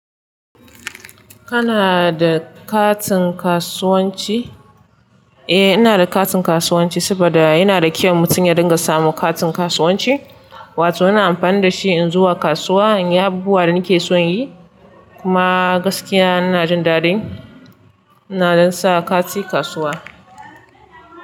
Kana da katin kasuwanci? Eh ina da katin kasuwanci saboda yana da kyau mutum ya dinga samu katin kasuwanci. Wato ina amfani da shi in zuwa kasuwa in yi abubuwan da nake so in yi. Kuma gaskiya ina jin dadin. Ina don s kati kasuwa.